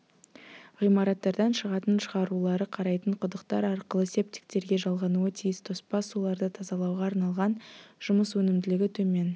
ғимараттардан шығатын шығарулары қарайтын құдықтар арқылы септиктерге жалғануы тиіс тоспа суларды тазалауға арналған жұмыс өнімділігі төмен